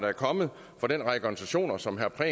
er kommet fra den række organisationer som herre